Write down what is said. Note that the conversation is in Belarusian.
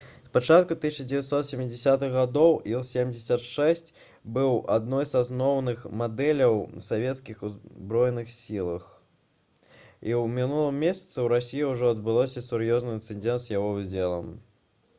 з пачатку 1970-х гадоў іл-76 быў адной з асноўных мадэляў летакоў як у расійскіх так і ў савецкіх узброеных сілах і ў мінулым месяцы ў расіі ўжо адбыўся сур'ёзны інцыдэнт з яго ўдзелам